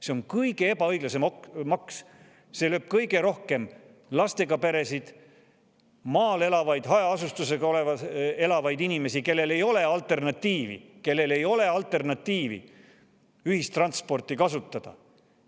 See on kõige ebaõiglasem maks, see lööb kõige rohkem lastega peresid ja maal hajaasustuses elavaid inimesi, kellel ei ole alternatiivi, kellel ei ole ühistransporti kasutada.